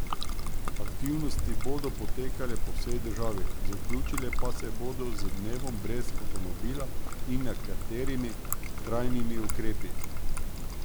Aktivnosti bodo potekale po vsej državi, zaključile pa se bodo z dnevom brez avtomobila in nekaterimi trajnimi ukrepi.